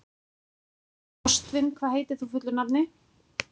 Ástvin, hvað heitir þú fullu nafni?